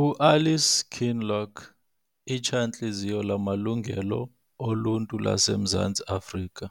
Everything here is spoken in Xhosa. uAlice Kinloch litshantliziyo lamalungelo oluntu laseMzantsi Afrika,